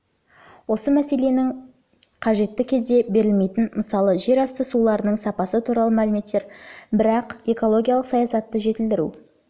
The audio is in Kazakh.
осы мәселенің ға қажетті кезде берілмейтін мысалы жерасты суларының сапасы туралы мәліметтер бірақ экологиялық саясатты жетілдіру